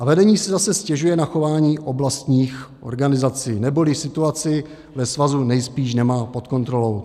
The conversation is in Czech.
A vedení si zase stěžuje na chování oblastních organizací, neboli situaci ve svazu nejspíš nemá pod kontrolou.